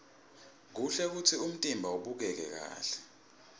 kuhle kutsi umtimba ubukeke kahle